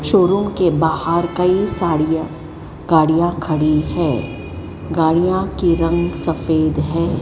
Showroom के बाहर कई साड़ियां गाड़ियां खड़ी है गाड़ियां के रंग सफेद हैं।